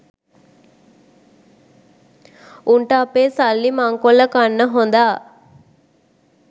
උන්ට අපේ සල්ලි මංකොල්ල කන්න හොඳා